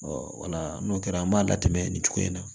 wala n'o kɛra an b'a latɛmɛ nin cogo in na